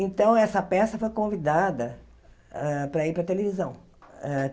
Então, essa peça foi convidada hã para ir para a televisão hã.